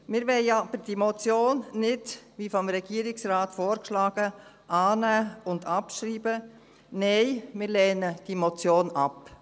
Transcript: Wir wollen diese Motion aber nicht, wie vom Regierungsrat vorgeschlagen, annehmen und abschreiben, nein, wir lehnen diese Motion ab.